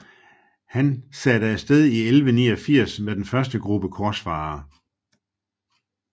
Han satte afsted i 1189 med den første gruppe korsfarere